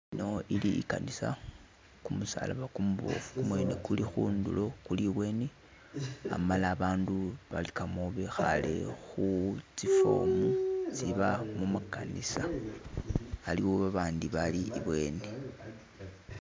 Ino ili ikanisa, kumusalaba kumubofu kumwene kulikhundulo kuli ibweni, amala abandu balikamo bekhale khu tsi'form itsiba mukanisa, aliwo babandi abali ibweni.